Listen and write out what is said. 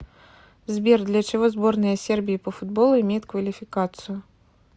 сбер для чего сборная сербии по футболу имеет квалификацию